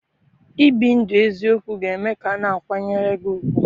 Ibi ndụ eziokwu ga-eme ka a na-akwanyere gị ùgwù.